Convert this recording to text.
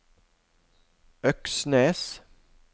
Øksnes